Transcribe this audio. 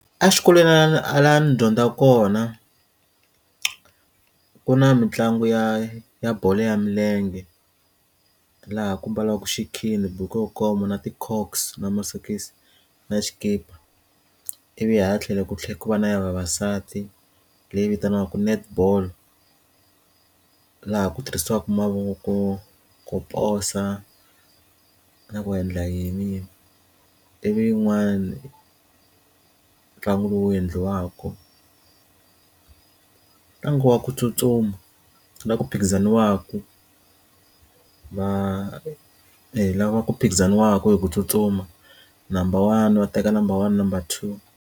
A xikolweni hala ndzi dyondza kona ku na mitlangu ya ya bolo ya milenge laha ku mbalaka xikhindhi buku inkomu na ti cocks na masokisi na xikipa ivi hala tlhelo ku tlhela ku va na ya vavasati leyi vitaniwaka net ball laha ku tirhisiwaka mavoko ku posa na ku endla yini ivi yin'wani ntlangu lowu endliwaka ntlangu wa ku tsutsuma la ku phikizaniwaku va hi lava ku phikizaniwaka hi ku tsutsuma number one va teka number one number two.